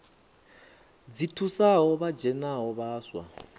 dzi thusaho vha dzhenaho vhaswa